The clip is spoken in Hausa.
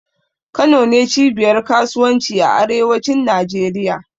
Kano ne cibiyar kasuwanci a arewacin Najeriya.